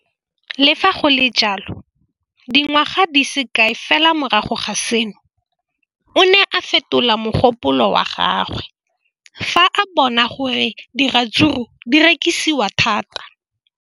Le fa go le jalo, dingwaga di se kae fela morago ga seno, o ne a fetola mogopolo wa gagwe fa a bona gore diratsuru di rekisiwa thata.